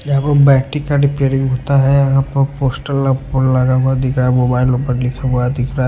यह पर बैटरी का रिपेयरिंग होता हैं यह पर पोस्टर लगा दिख रहा है मोबाइल ऊपर लिखा हुआ दिख रहा है।